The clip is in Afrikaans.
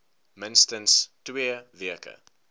minstens twee weke